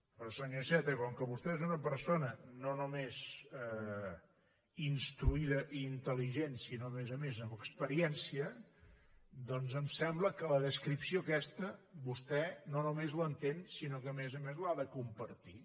però senyor iceta com que vostè és una persona no només instruïda i intel·ligent sinó a més a més amb experiència doncs em sembla que la descripció aquesta vostè no només l’entén sinó que a més a més l’ha de compartir